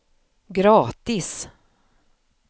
gratis